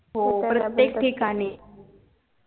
प्रत्येक ठिकाणी